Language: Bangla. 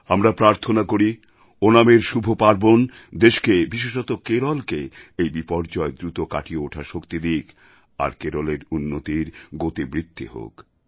আমরা প্রার্থনা করি ওনামএর শুভ পার্বণ দেশকে বিশেষত কেরলকে এই বিপর্যয় দ্রুত কাটিয়ে ওঠার শক্তি দিক আর কেরলের উন্নতির গতিবৃদ্ধি হোক